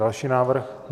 Další návrh.